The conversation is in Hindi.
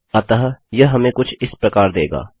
अतः यह हमें कुछ इस प्रकार देगा